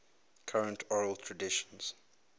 current oral traditions